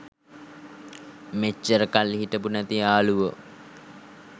මෙච්චර කල් හිටපු නැති යාළුවො